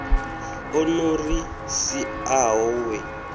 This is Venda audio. o no ri siaho we